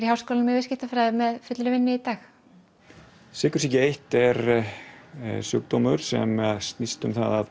í háskólanum í viðskiptafræði með fullri vinnu í dag sykursýki eins er sjúkdómur sem snýst um það að